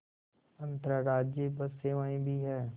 अंतर्राज्यीय बस सेवाएँ भी हैं